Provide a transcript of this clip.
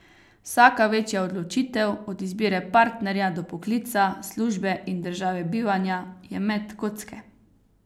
Vsaka večja odločitev, od izbire partnerja do poklica, službe in države bivanja, je met kocke.